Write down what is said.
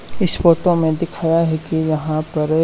इस फोटो में दिखाया है कि यहां पर--